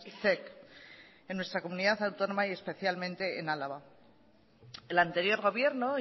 zec en nuestracomunidad autónoma y especialmente en álava el anterior gobierno